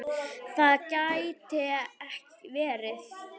Það gæti verið